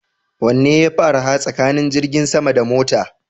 Wanne yafi arha tsakanin jirgin sama da mota?